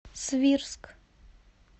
свирск